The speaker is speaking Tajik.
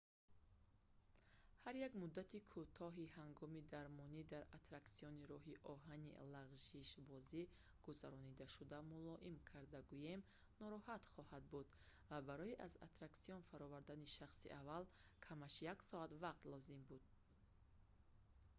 ҳар як муддати кӯтоҳи ҳагоми дармонӣ дар аттраксиони роҳи оҳани лағшишбозӣ гузарондашуда мулоим карда гӯем нороҳат хоҳад буд ва барои аз аттраксион фаровардани шахси аввал камаш як соат вақт лозим буд